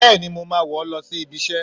Béèni, mọ ma wọ lọ sí ibí isẹ